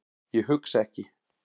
Ég hugsa ekki.